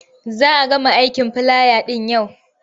Za a gama aikin filaya ɗin yau.